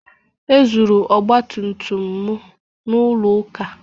E zuru ọgba tum tum m n'ụlọ ụka